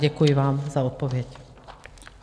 Děkuji vám za odpověď.